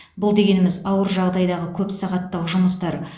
бұл дегеніміз ауыр жағдайдағы көпсағаттық жұмыстар